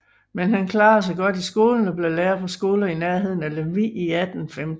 Men han klarede sig godt i skolen og blev lærer på skoler i nærheden af Lemvig i 1815